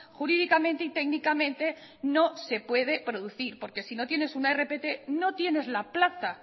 jurídicamente y técnicamente no se puede producir porque si no tienes una rpt no tienes la plaza